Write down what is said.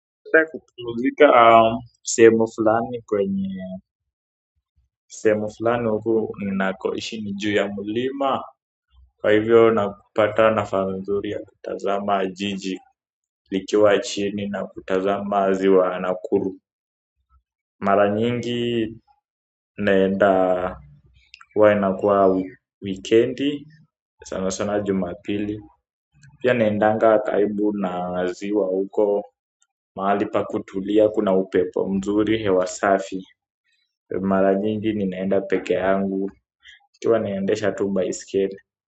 Napenda kupumzika sehemu fulani kwenye sehemu fulani huku ninakoishi ni juu ya mlima kwa hivyo nakupata nafasi nzuri ya kutazama jiji likiwa chini na kutazama ziwa Nakuru. Mara nyingi naenda huwa inakuwa wikendi, sana sana Jumapili pia naendanga karibu na ziwa huko mahali pa kutulia kuna upepo mzuri hewa safi mara nyingi ninaenda pekee yangu nikiwa tu naendesha baiskeli.